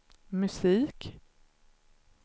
musik